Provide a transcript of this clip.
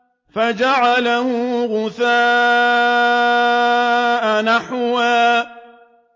فَجَعَلَهُ غُثَاءً أَحْوَىٰ